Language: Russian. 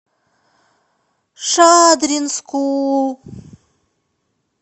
шадринску